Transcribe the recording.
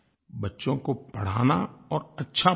बच्चों को पढ़ाना और अच्छा पढ़ाना